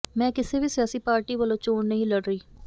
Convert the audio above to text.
ਮੈਂ ਕਿਸੇ ਵੀ ਸਿਆਸੀ ਪਾਰਟੀ ਵੱਲੋਂ ਚੋਣ ਨਹੀਂ ਲੜ ਰਹੀ